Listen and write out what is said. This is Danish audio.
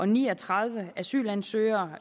ni og tredive asylansøgere